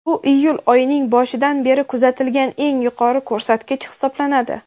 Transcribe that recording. Bu iyul oyining boshidan beri kuzatilgan eng yuqori ko‘rsatkich hisoblanadi.